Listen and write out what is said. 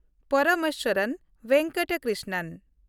Parameswaran Venkata Krishnan